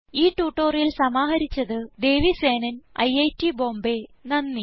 ഈ ട്യൂട്ടോറിയൽ സമാഹരിച്ചത് ദേവി സേനൻ ഐറ്റ് ബോംബേ നന്ദി